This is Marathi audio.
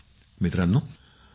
मंजूर जी धन्यवाद सर ।